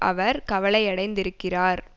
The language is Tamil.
அவர் கவலையடைந்திருக்கிறார்